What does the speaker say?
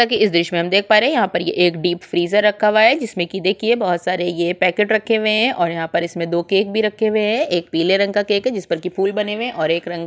जैसा कि इस दृश्य में हम देख पा रहै है यहाँ पर ये एक डीप फ्रीजर रखा हुआ है जिसमें कि देखिये बहुत सारे ये पैकेट रखे हुए है और यहाँ पर इसमें दो केक भी रखे हुए है एक पीले रंग का केक जिस पर की फूल बने हुए है और एक रंग --